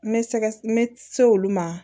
N bɛ sɛgɛ n bɛ se olu ma